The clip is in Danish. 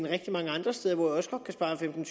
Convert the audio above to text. rigtig mange andre steder hvor jeg også godt kan spare femten